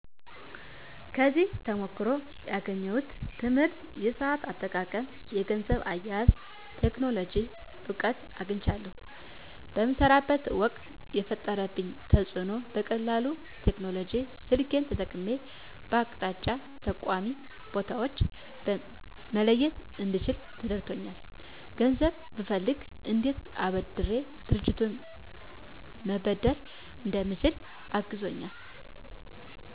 ከዚህ ተሞክሮ ያገኘሁት ትምህርት የሰአት አጠቃቀም የገንዘብ አያያዝ የቴክኖሎጂ እውቀት አግኝቻለሁ በምሰራበት ወቅት የፈጠረብኝ ተፅእኖ በቀላሉ ቴክኖሎጂ ስልኬን ተጠቅሜ በአቅጣጫ ጠቋሚ ቦታወችን መለየት እንድችል ረድቶኛል ገንዘብ ብፈልግ እንዴት ከአበዳሪ ድርጅቶች መበደር እንደምችል አግዞኛል